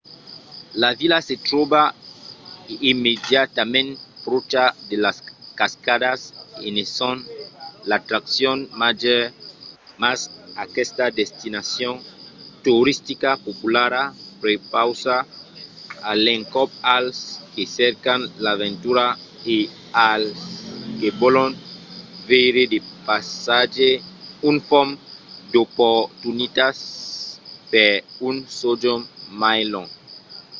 la vila se tròba immediatament pròcha de las cascadas e ne son l’atraccion màger mas aquesta destinacion toristica populara prepausa a l’encòp als que cercan l’aventura e als que vòlon veire de païsatges un fum d’oportunitats per un sojorn mai long